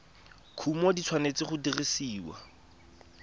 kumo di tshwanetse go dirisiwa